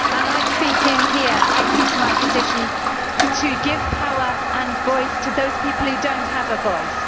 I speak here, I use my position to give power and voice to those people who do not have a voice.